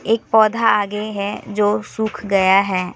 एक पौधा आगे है जो सूख गया है।